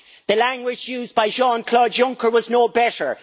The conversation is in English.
The language used by Jean-Claude Juncker was no better.